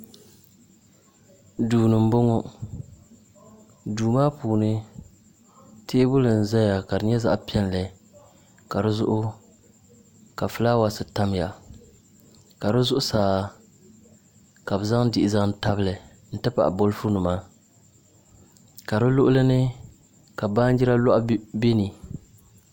Duu ni n bɔŋɔ duu maa puuni teebuli n ʒɛya ka di nyɛ zaɣ piɛlli ka dizuɣu ka fulaawaasi tamya ka di zuɣusaa ka bi zaŋ diɣi zaŋ tabili n ti pahi bolfu nima ka di luɣuli ni ka baanjira loɣu biɛni